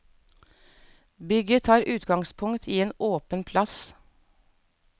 Bygget tar utgangspunkt i en åpen plass.